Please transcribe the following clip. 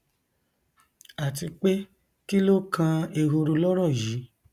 àti pé kí ló kan ehoro lọrọ yìí